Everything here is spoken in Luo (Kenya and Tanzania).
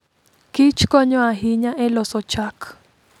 Kich konyo ahinya e loso chak.